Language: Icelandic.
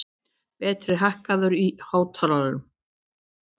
Berti, hækkaðu í hátalaranum.